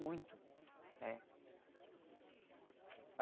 Muito. É.